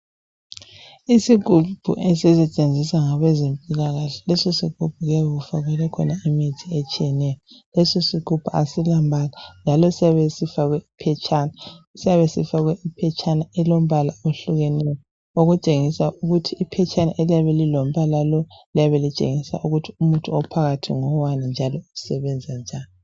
Isigubhu esisetshenziswa ngabezempilakahle lesi isigubhu kuyabe kufakelwe khona imithi etshiyeneyo lesi isigubhu asila mbala njalo siyabe sifakwe iphetshana siyabe sifakwe iphetshana elilombala ohlukeneyo okutshengisa ukuthi iphetshana eliyabelilombala lo liyabe litshengisa ukuthi umuthi ophakathi ngowani njalo usebenza njani